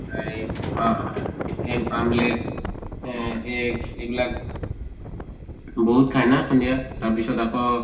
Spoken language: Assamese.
এই আহ egg আহ egg এইবিলাক বহুত খায় না সন্ধিয়া? তাৰ পিছত আকৌ